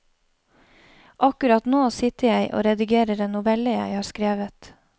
Akkurat nå sitter jeg og redigerer en novelle jeg har skrevet.